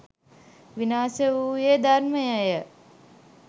විනාශ වූයේ ධර්මයය.